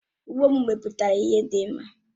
Ụgbo m mepụtara ihe dị mma